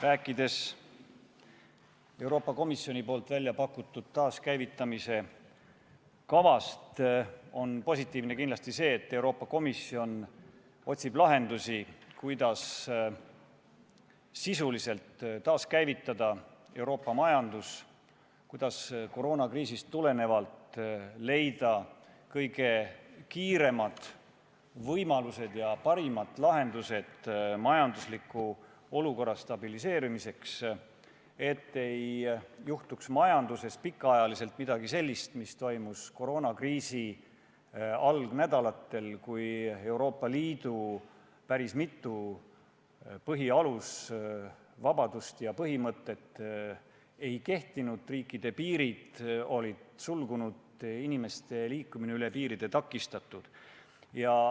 Rääkides Euroopa Komisjoni pakutud taaskäivitamise kavast, on positiivne kindlasti see, et Euroopa Komisjon otsib lahendusi, kuidas Euroopa majandus sisuliselt taaskäivitada, leida koroonakriisist tulenevalt kõige kiiremad võimalused ja kõige paremad lahendused majandusliku olukorra stabiliseerimiseks, et majanduses ei juhtuks pikaajaliselt midagi sellist, mis toimus koroonakriisi esimestel nädalatel, kui päris mitu Euroopa Liidu põhivabadust ja aluspõhimõtet ei kehtinud, riikide piirid olid suletud, inimeste liikumine üle piiri takistatud.